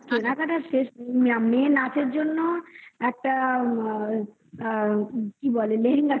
কেনাকাটার শেষ নেই মেয়ে নাচের জন্য একটা আ আ কি বলে?